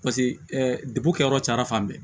Paseke degun kɛyɔrɔ cayara fan bɛɛ